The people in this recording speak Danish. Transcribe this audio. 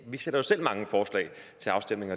vi sætter jo selv mange forslag til afstemning